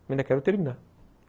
ainda quero terminar.